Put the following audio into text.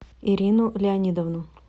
ирину леонидовну